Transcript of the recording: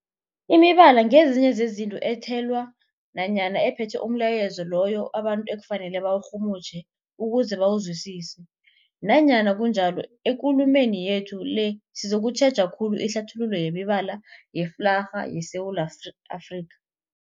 Imibala ngezinye zezinto ethelwe nanyana ephethe umlayezo loyo abantu ekufanele bawurhumutjhe ukuze bawuzwisise. Nanyana kunjalo, ekulumeni yethu le sizokutjheja khulu ihlathululo yemibala yeflarha yeSewula Afrika.